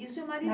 E o seu marido?